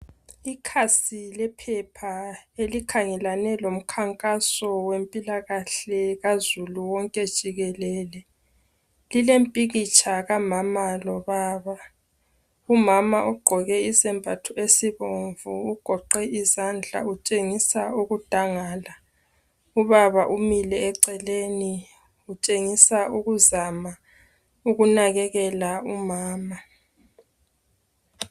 Ikhasi lephepha elikhangelane lomkhankaso wempilahle Kahului wonke jikelele lilempikitsha kamama lobaba umama ugqoke isembatho esibomvu ugoqe izandla utshengisa ukudangala ubaba umile eceleni utshengisa ukuzama ukunakekela umama